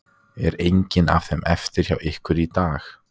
Er engin af þeim eftir hjá ykkur í dag?